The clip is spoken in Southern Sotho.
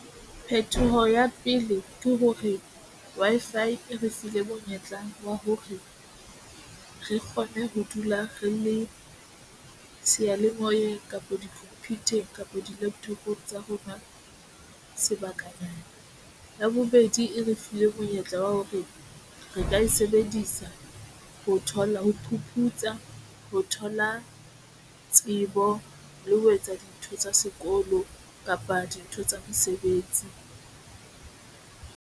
Phetoho ya pele ke hore Wi-Fi re file monyetla wa hore re kgone ho dula re le seyalemoye kapa di-computer kapa di-laptop-ong tsa rona sebakanyana. Mme ya bobedi e re fuwe monyetla wa hore re ka e sebedisa ho thola, ho phuputsa, ho thola tsebo le ho etsa dintho tsa sekolo kapa dintho tsa mesebetsi.